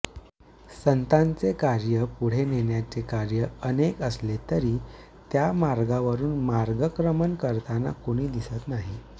संतांचे कार्य पुढे नेण्याचे कार्य अनेक असले तरी त्या मार्गावरून मार्गक्रमण करताना कुणी दिसत नाही